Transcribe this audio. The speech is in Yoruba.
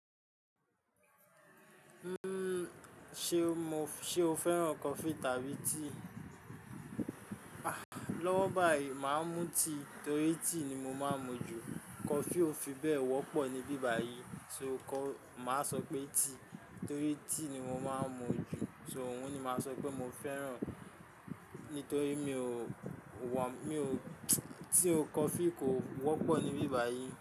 Uhm, ṣe o mo, ṣe o fẹ́ràn coffee tàbí tea? Ah, lọ́wọ́ báyìí màá mú tea torí tea ni mo máa ń mú jù. Coffee ò fi bẹ́ẹ̀ wọ́pọ̀ níbí báyìí, so ò kọ́, màá sọ pé tea torí tea ni mo máa ń mú jù. So òun ni màá sọ pé mo fẹ́ràn nítorí mi ò, wò, mi ò, tí coffee kò wọ́pọ̀ níbí báyìí.